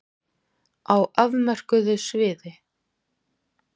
Á afmörkuðu sviði.